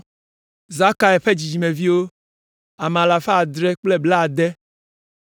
Zakai ƒe dzidzimeviwo, ame alafa adre kple blaade (760).